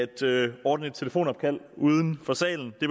til at ordne et telefonopkald uden for salen det